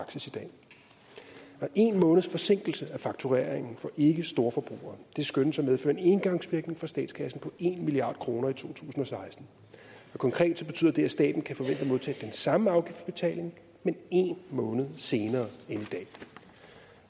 en måneds forsinkelse af faktureringen for ikkestorforbrugere skønnes at medføre en engangsvirkning for statskassen på en milliard kroner i to tusind og seksten konkret betyder det at staten kan forvente at modtage den samme afgiftsbetaling men en måned senere